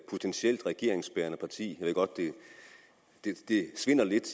potentielt regeringsbærende parti jeg ved godt det det svinder lidt